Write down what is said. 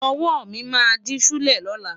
Ọwọ́ mi máa dí ṣúlẹ̀ lọ́la.